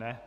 Ne.